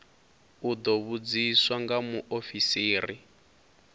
u ḓo vhudziswa nga muofisiri